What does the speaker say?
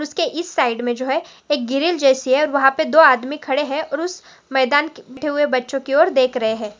उसके इस साइड मे जो है एक ग्रिल जैसी है और वहा पे दो आदमी खडे है और उस मैदान की हुए बच्चे की और देख रहे है।